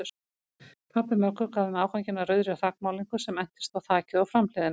Pabbi Möggu gaf þeim afganginn af rauðri þakmálningu sem entist á þakið og framhliðina.